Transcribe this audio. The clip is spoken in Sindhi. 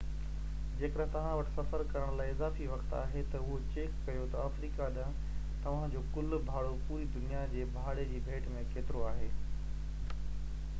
جيڪڏهن توهان وٽ سفر ڪرڻ لاءِ اضافي وقت آهي ته اهو چيڪ ڪريو ته افريقا ڏانهن توهان جو ڪُل ڀاڙو پوري دنيا جي ڀاڙي جي ڀيٽ ۾ ڪيترو آهي